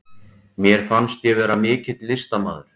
Mér fannst ég vera mikill listamaður.